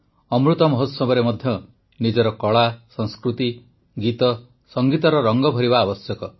ଅମୃତ ମହୋତ୍ସବରେ ମଧ୍ୟ ନିଜର କଳା ସଂସ୍କୃତି ଗୀତ ସଙ୍ଗୀତର ରଙ୍ଗ ଭରିବା ଆବଶ୍ୟକ